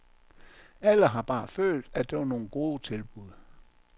Alle har bare følt, at det var nogle gode tilbud.